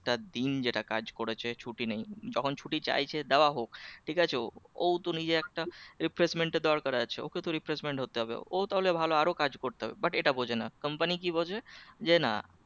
দিন যেটা কাজ করেছে ছুটি নেই যখন ছুটি চাইছে দেওয়া হোক ঠিক আছে ওউ তো নিজে একটা refreshment এর দরকার আছে ওকে তো refreshment হতে হবে ওই তাহলে ভালো আরো কাজ করতে পারবে but এটা বোঝে না company কি বোঝে যে না